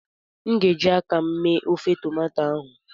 m ga- eji aka m mee ofe tomato ahụ